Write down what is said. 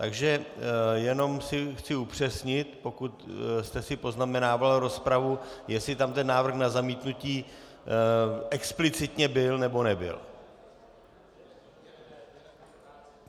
Takže jenom si chci upřesnit, pokud jste si poznamenal rozpravu, jestli tam ten návrh na zamítnutí explicitně byl, nebo nebyl.